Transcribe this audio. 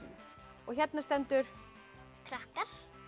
og hérna stendur krakkar